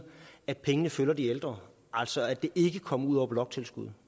at pengene følger de ældre altså at det ikke kom ud via bloktilskuddet